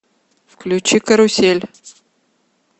включи карусель